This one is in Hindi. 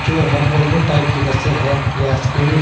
जो है वोल्वो टाइप की बसे है या स्कूल --